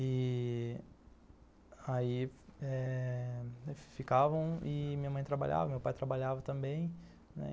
E... aí eh ficavam e minha mãe trabalhava, meu pai trabalhava também.